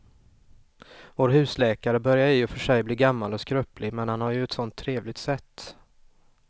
Vår husläkare börjar i och för sig bli gammal och skröplig, men han har ju ett sådant trevligt sätt!